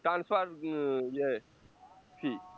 transfer um য়ে C